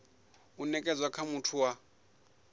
u nekedzwa nga muthu wa